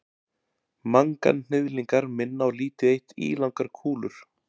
Manganhnyðlingar minna á lítið eitt ílangar kúlur.